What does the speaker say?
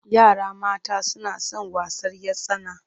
Yara mata suna son wasan 'yar tsana.